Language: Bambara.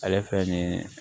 Ale fɛn nin ye